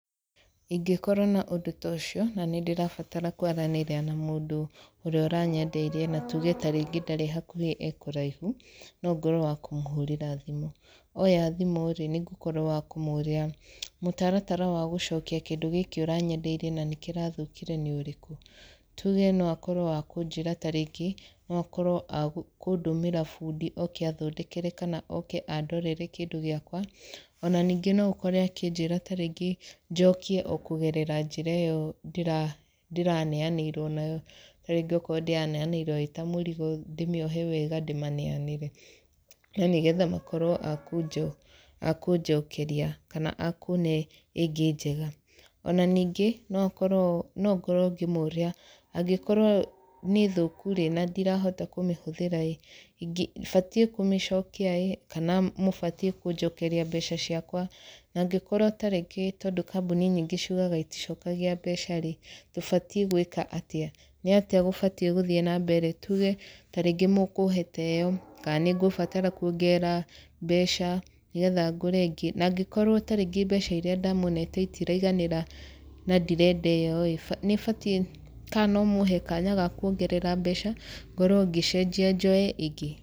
Ingĩkorwo na ũndũ ta ũcio, na nĩ ndĩrabatara kwaranĩria na mũndũ ũrĩa ũranyendeirie na tuge tarĩngĩ ndarĩ hakuhĩ e kũraihu, no ngorwo wa kũmũhũrĩra thimũ. Oya thimũ rĩ, nĩ ngũkorwo wa kũmũũria mũtaratara wa gũcokia kĩndũ gĩkĩ ũranyendeirie kĩndũ gĩkĩ ũranyendeirie nĩ ũrĩkũ? Tuge no akorwo wa kũnjĩra tarĩngĩ, no akorwo kũndũmĩra bundi oke athondekere kana oke andorere kĩndũ gĩakwa. Ona ningĩ no ũkore akĩnjĩra tarĩngĩ njokie o kũgerera njĩra ĩyo ndĩraneanĩirwo nayo. Tarĩngĩ okorwo ndĩraneanĩirwo ĩ ta mũrigo ndĩmĩohe wega ndĩmaneanĩre, na nĩgetha makorwo a a kũnjokeria kana a kũne ĩngĩ njega. Ona ningĩ, no korwo no ngorwo ngĩmũria, angĩkorwo nĩ thũku rĩ, na ndirahota kũmĩhũthĩra ĩ, batiĩ kũmĩcokia ĩ, kana mũbatiĩ kũnjokeria mbeca ciakwa. Na angĩkorwo tarĩngĩ tondũ kambuni nyingĩ ciugaga iticokagia mbeca rĩ, tũbatiĩ gwĩka atĩa? Nĩ atĩa gũbatiĩ gũthiĩ na mbere? Tuge tarĩngĩ mũkũhe ta ĩyo, kana nĩ ngũbatara kuongerera mbeca nĩgetha ngũre ĩngĩ. Na angĩkorwo tarĩngĩ mbeca irĩa ndamũnete itiraiganĩra na ndirenda ĩyo ĩ, nĩ batiĩ kana no mũhe kanya ga kuongerera mbeca, ngorwo ngĩcenjia njoye ĩngĩ?